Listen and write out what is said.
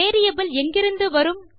variable எங்கிருந்து வரும்